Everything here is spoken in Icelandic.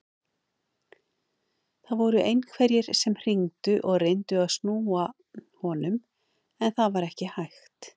Það voru einhverjir sem hringdu og reyndu að snúa honum en það var ekki hægt.